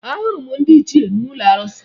Ahụrụ m ndị ichie n'ụlọ arụsị